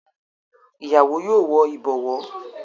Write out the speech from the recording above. Ìyàwó yóò wọ ìbọ̀wọ́.